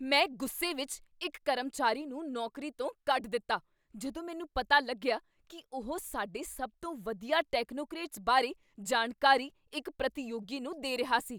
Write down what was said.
ਮੈਂ ਗੁੱਸੇ ਵਿੱਚ ਇੱਕ ਕਰਮਚਾਰੀ ਨੂੰ ਨੌਕਰੀ ਤੋਂ ਕੱਢ ਦਿੱਤਾ ਜਦੋਂ ਮੈਨੂੰ ਪਤਾ ਲੱਗਿਆ ਕੀ ਉਹ ਸਾਡੇ ਸਭ ਤੋਂ ਵਧੀਆ ਟੈਕਨੋਕਰੇਟਸ ਬਾਰੇ ਜਾਣਕਾਰੀ ਇੱਕ ਪ੍ਰਤੀਯੋਗੀ ਨੂੰ ਦੇ ਰਿਹਾ ਸੀ।